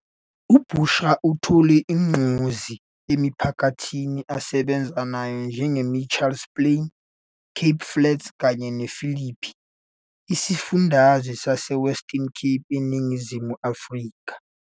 UBushra uthola ugqozi emiphakathini asebenza nayo njengeMitchells Plain, Cape Flats kanye nePhilippi esifundazweni saseWestern Cape eNingizimu Afrika.